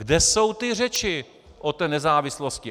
Kde jsou ty řeči o té nezávislosti!